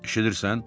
Eşidirsən?